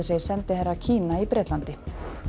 segir sendiherra Kína í Bretlandi